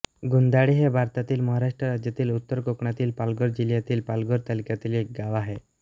गुंदाळे हे भारतातील महाराष्ट्र राज्यातील उत्तर कोकणातील पालघर जिल्ह्यातील पालघर तालुक्यातील एक गाव आहे